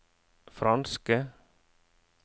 franske